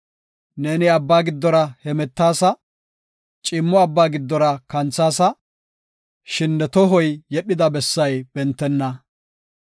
Neeni abba giddora hemetaasa; ciimmo abba giddora kanthaasa; shin ne tohoy yedhida bessay bentenna.